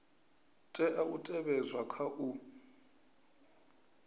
tea u tevhedzwa kha u